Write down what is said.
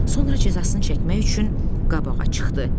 Sonra cəzasını çəkmək üçün qabağa çıxdı.